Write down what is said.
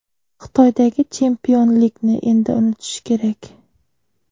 Xitoydagi chempionlikni endi unutish kerak.